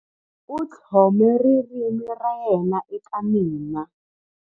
U tlhome ririmi ra yena eka mina.